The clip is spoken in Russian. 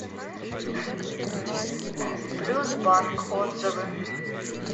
плюс банк отзывы